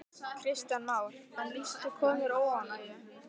Kristján Már: En lýstu konur óánægju?